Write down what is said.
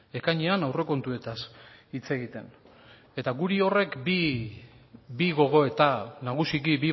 ekainean aurrekontuetaz hitz egiten eta guri horrek bi gogoeta nagusiki